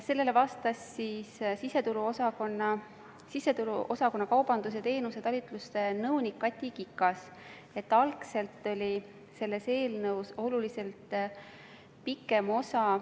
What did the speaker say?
Sellele vastas siseturuosakonna kaubanduse ja teenuste talituse nõunik Kati Kikas, et algselt oli selle eelnõu lisa oluliselt pikem.